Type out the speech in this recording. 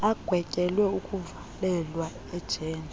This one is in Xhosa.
agwetyelwe ukuvalelwa ejele